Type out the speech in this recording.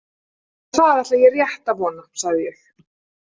Það ætla ég rétt að vona, sagði ég.